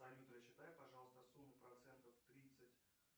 салют рассчитай пожалуйста сумму процентов тридцать